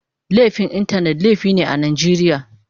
Laifin Intanet laifi ne a Najeriya.